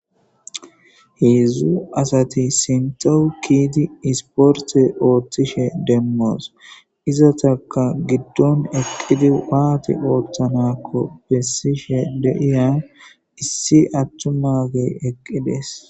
Heedzdzu asati sinthaw keyidi isporte oothishe demmos. Izatakka gidon eqqidi waathi oothanakko besishe de'iya issi atumaage eqqidees.